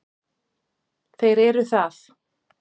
Þeir eru það.